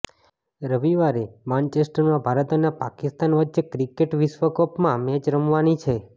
રવિવારે માનચેસ્ટરમાં ભારત અને પાકિસ્તાન વચ્ચે ક્રિકેટ વિશ્વકપમાં મેચ રમાવાની છે